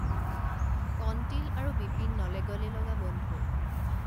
কণতিল আৰু বিপিন নলে গলে লগা বন্ধু